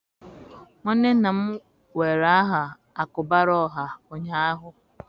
nwanne nna m were aha Akubaraoha ụnyahụ